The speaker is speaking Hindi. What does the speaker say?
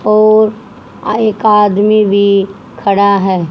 और अह एक आदमी भी खड़ा है।